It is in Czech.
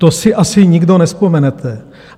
To si asi nikdo nevzpomenete.